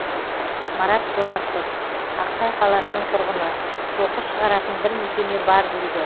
марат жомартов ақсай қаласының тұрғыны қоқыс шығаратын бір мекеме бар дейді